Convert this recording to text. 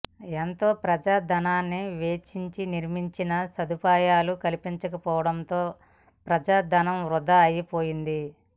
ఎంతో ప్రజా ధనాన్ని వెచ్చించి నిర్మించినా సదుపాయాలు కల్పించకపోవడంతో ప్రజా ధనం వృథా అయిపోయింది